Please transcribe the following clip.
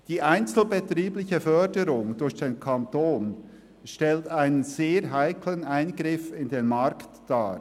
Die einzelbetriebliche Förderung durch den Kanton stellt einen sehr heiklen Eingriff in den Markt dar.